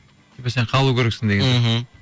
типа сен қалу керексің деген сияқты мхм